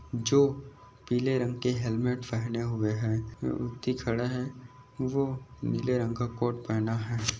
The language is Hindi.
जो पीले रंग के हेलमेट पहने हुए है। वो व्यक्ती खडा है वो नील रंग का कोट पहना है।